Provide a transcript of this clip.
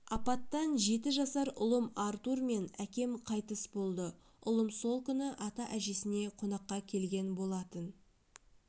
апаттан жеті жасар ұлым артур мен әкем қайтыс болды ұлым сол күні ата-әжесіне қонаққа келген болатын